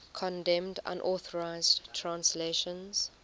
condemned unauthorized translations